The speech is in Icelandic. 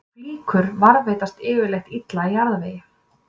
Flíkur varðveitast yfirleitt illa í jarðvegi.